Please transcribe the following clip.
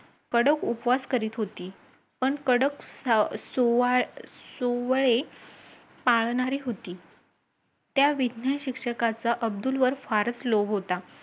आणि लक्षात ठेव, तु भरतीचा अर्ज तर केला आहेस. पण तुला लेखी, मैदानी आणि शारीरिक परीक्षेत सुद्धा तुला प्रथम काढायचं आहे.